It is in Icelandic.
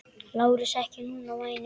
LÁRUS: Ekki núna, væni minn.